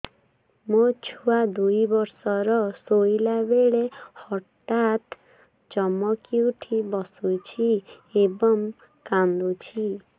ମୋ ଛୁଆ ଦୁଇ ବର୍ଷର ଶୋଇଲା ବେଳେ ହଠାତ୍ ଚମକି ଉଠି ବସୁଛି ଏବଂ କାଂଦୁଛି